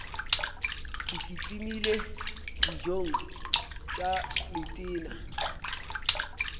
ke kitimele dijong tša letena